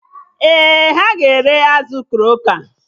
Ee, ha na-ere azụ kroka